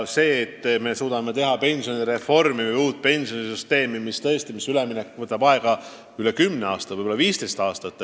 Küllap me suudame teha pensionireformi, aga uuele pensionisüsteemile üleminek võtab aega üle 10 aasta, võib-olla 15 aastat.